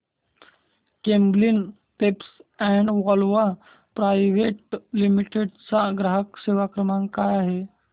Camlin pumps and valves private limited चा ग्राहक सेवा क्रमांक काय आहे